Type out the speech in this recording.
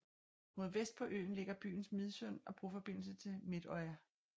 Mod vest på øen ligger byen Midsund og broforbindelse til Midøya